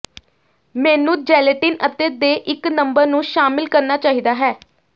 ਮੈਨੂੰ ਜੈਲੇਟਿਨ ਅਤੇ ਦੇ ਇੱਕ ਨੰਬਰ ਨੂੰ ਸ਼ਾਮਿਲ ਕਰਨਾ ਚਾਹੀਦਾ ਹੈ